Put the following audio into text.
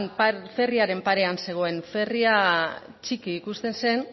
ferriaren parean zegoen ferria txiki ikusten zen